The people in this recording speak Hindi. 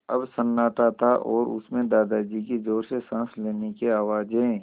अब सन्नाटा था और उस में दादाजी की ज़ोर से साँस लेने की आवाज़ें